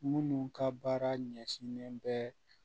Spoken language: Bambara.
Minnu ka baara ɲɛsinnen bɛ